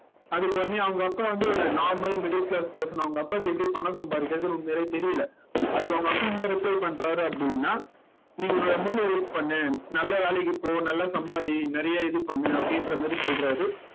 அதுக்கு உடனே அவங்க அப்பா வந்து ஒரு normal middle class person அவங்க அப்பாக்கு எப்படி பணம் சம்பாதிக்கிறதுன்னு உண்மையாவே தெரியலே அதுக்கு அவங்க அப்பா என்ன reply பண்றாரு அப்படின்னா நீங்க உங்க மூளையை use பண்ணு நல்ல வேலைக்கு போ நல்லா சம்பாரி நிறைய இது பண்ணு அப்படின்ற மாதிரி சொல்றாரு